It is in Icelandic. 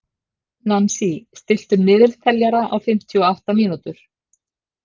Nansý, stilltu niðurteljara á fimmtíu og átta mínútur.